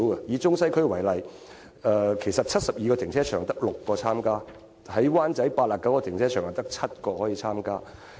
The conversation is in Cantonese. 以中西區為例，在72個停車場中只有6個參加；在灣仔 ，89 個停車場中只有7個參加。